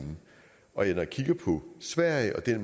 så